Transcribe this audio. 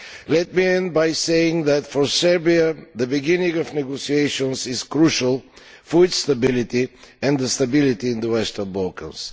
Let me close by saying that for Serbia, the beginning of negotiations is crucial for its stability and the stability of the Western Balkans.